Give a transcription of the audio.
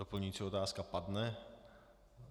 Doplňující otázka padne.